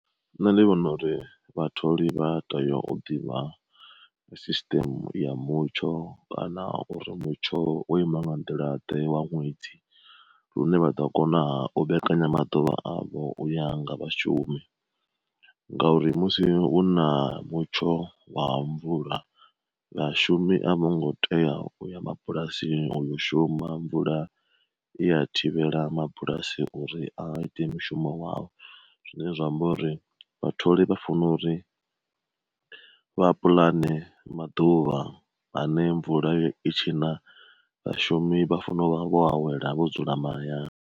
Nṋe ndi vhona uri vhatholi vhateya o ḓivha system ya mutsho kana uri mutsho o ima nga nḓila ḓe wa ṅwedzi lune vhaḓo kona o mbekanya maḓuvha avho yanga vhashumi, ngauri musi hu na mutsho wa mvula, vha shumi a vho ngo tea uya mabulasini uyo shuma mvula i ya thivhela mabulasi uri a ite mishumo wao. Zwine zwa amba uri vha tholi vha funa uri vha pulane maḓuvha ane mvula ya itshi na, vhashumi vha fanela u vha vho awela vho dzula mahayani.